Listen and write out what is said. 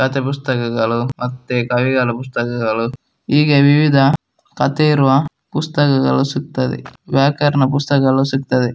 ಕಥೆ ಪುಸ್ತಕಗಲು ಮತ್ತೆ ಕವಿಗಳ ಪುಸ್ತಕಗಳು ಹೀಗೆ ವಿವಿಧ ಕಥೆ ಇರುವ ಪುಸ್ತಕಗಳು ಸಿಗತ್ತದೆ ವ್ಯಾಕರಣ ಪುಸ್ತಕಗಲು ಸಿಗ್ತ್ತದೆ .